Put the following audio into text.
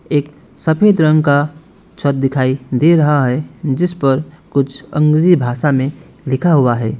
एक सफेद रंग का छत दिखाई दे रहा है जिस पर कुछ अंग्रेजी भाषा में लिखा हुआ है।